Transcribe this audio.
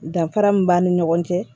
Danfara min b'a ni ɲɔgɔn cɛ